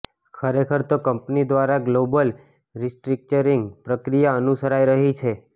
ખરેખર તો કંપની દ્વારા ગ્લોબલ રિસ્ટ્રક્ચરીંગ પ્રક્રિયા અનુસરાઈ રહી છે